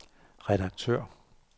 redaktør